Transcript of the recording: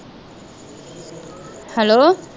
hello